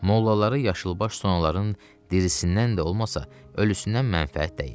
Mollalara yaşılbaş sonaların dirisindən də olmasa, ölüsündən mənfəət dəyir.